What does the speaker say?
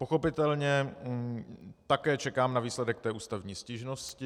Pochopitelně také čekám na výsledek té ústavní stížnosti.